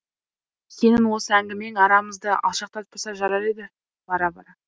сенің осы әңгімең арамызды алшақтатпаса жарар еді бара бара